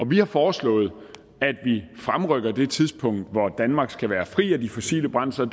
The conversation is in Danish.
vi har foreslået at vi fremrykker det tidspunkt hvor danmark skal være fri af de fossile brændsler